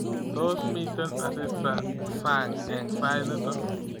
Tos miten asista sang eng sait nito